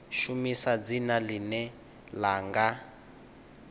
shumisa dzina ḽine ḽa nga